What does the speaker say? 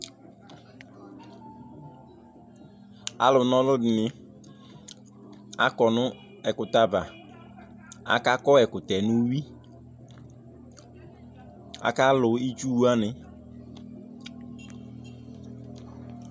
Alu na ɔlu dìní akɔ nʋ ɛkʋtɛ ava Akakɔ ɛkʋtɛ nʋ ʋwui Akalu itsu wani